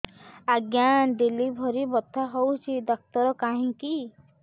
ଆଜ୍ଞା ଡେଲିଭରି ବଥା ହଉଚି ଡାକ୍ତର କାହିଁ କି